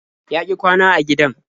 Ya ƙi kwana a gidan.